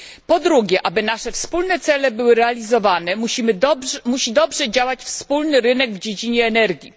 Po drugie, aby nasze wspólne cele były realizowane, musi dobrze działać wspólny rynek w dziedzinie energii.